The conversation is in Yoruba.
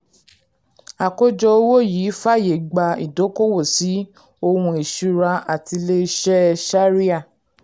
àkójọ owó yìí fàyè gba ìdókòwò sí ohun ìṣúra àti ilé iṣẹ́ shari'ah.